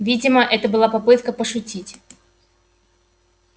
видимо это была попытка пошутить